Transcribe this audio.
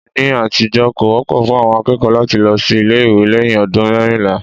Ní àtijọ́, kò wọ́pọ̀ fún àwọn akẹ́kọ̀ọ́ láti lọ sí ilé ìwé lẹ́yìn ọdún mẹ́rìnlá